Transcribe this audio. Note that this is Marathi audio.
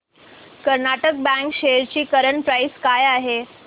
कर्नाटक बँक शेअर्स ची करंट प्राइस काय आहे